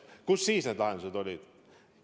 Kus siis need lahendused olid?